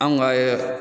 Anw ka